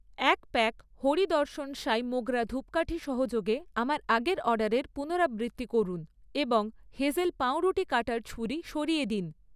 এক প্যাক হরি দর্শন সাই মোগরা ধুপকাঠি সহযোগে আমার আগের অর্ডারের পুনরাবৃত্তি করুন এবং হেজেল পাউরুটি কাটার ছুরি সরিয়ে দিন।